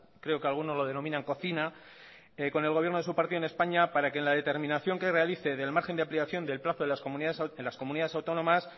creo que alguno lo denomina en cocina con el gobierno de su partido en españa para que en la determinación que realice del margen de ampliación del plazo de las comunidades autónomas